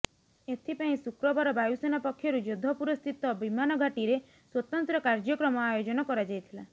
ଏଥିପାଇଁ ଶୁକ୍ରବାର ବାୟୁସେନା ପକ୍ଷରୁ ଯୋଧପୁରସ୍ଥିତ ବିମାନ ଘାଟିରେ ସ୍ବତନ୍ତ୍ର କାର୍ଯ୍ୟକ୍ରମ ଆୟୋଜନ କରାଯାଇଥିଲା